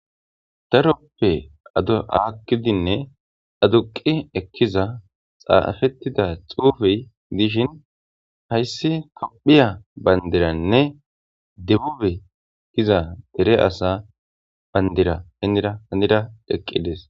daroppe adhi aakkidinne aduqi ekkiza xaafettida xuufey dishin hayssi kaphiya bandiranne debube ekiza dere asa bayndira hennira hanira dheqqides